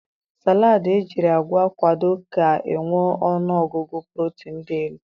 Saladị ejiri agwa kwado ga-enwe ọnụọgụgụ protin dị elu.